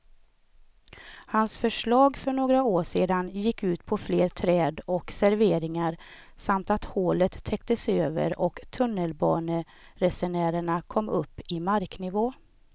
Hans förslag för några år sedan gick ut på fler träd och serveringar samt att hålet täcktes över och tunnelbaneresenärerna kom upp i marknivå.